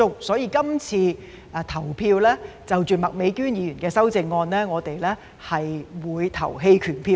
所以，今次對於麥美娟議員的修正案，我們會投棄權票。